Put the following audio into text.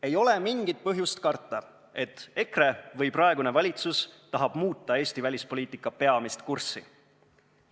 Ei ole mingit põhjust karta, et EKRE või praegune valitsus tahab muuta Eesti välispoliitika peamist kurssi.